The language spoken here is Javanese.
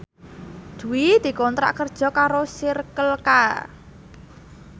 Dwi dikontrak kerja karo Circle K